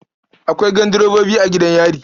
Akwai gandirebobi a gidan yari.